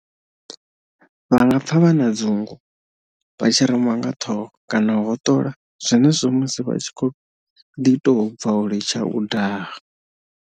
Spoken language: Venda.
Vha nga pfa vha na dzungu, vha tshi reṅwa nga ṱhoho kana u hoṱola zwenezwo musi vha tshi kha ḓi tou bva u litsha u daha.